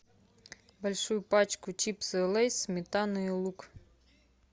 большую пачку чипсы лейс сметана и лук